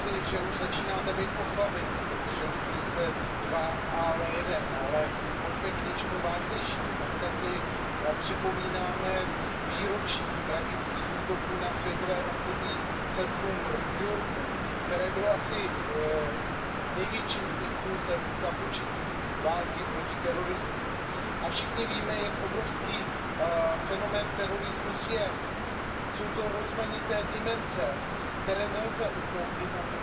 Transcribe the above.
Paní předsedající, hokejovou terminologií bych řekl, pane komisaři, že už začínáte být v oslabení, protože už zde nejste dva, ale jeden. Ale pojďme k něčemu vážnějšímu. Dnes si připomínáme výročí tragických útoků na Světové obchodní centrum v New Yorku, které bylo asi největším impulsem k započetí války proti terorismu. A všichni víme, jak obrovský fenomén terorismus je. Jsou to rozmanité dimenze, které nelze utnout jednou